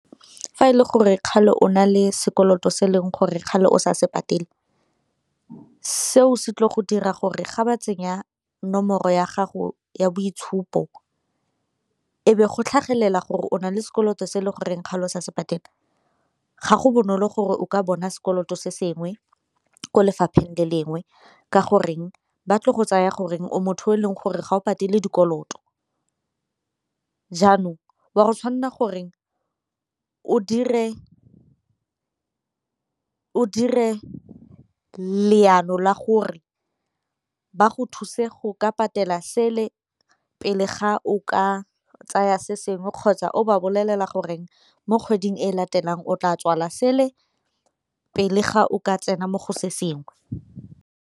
Fa e le gore kgale o na le sekoloto se e leng gore kgale o sa se patele, seo se tlile go dira gore ga ba tsenya nomoro ya gago ya boitshupo e be go tlhagelela gore o nale sekoloto se e le goreng kgale o sa se patele, ga go bonolo gore o ka bona sekoloto se sengwe ko lefapheng le lengwe ka goreng go tsaya gore o motho yo e leng gore ga o patele dikoloto. Jaanong wa go tshwanela gore o dire leano la gore ba go thuse go ka patela sele pele ga o ka tsaya se sengwe kgotsa o ba bolelela gore mo kgweding e latelang o tla tswala sele pele ga o ka tsena mo go se sengwe.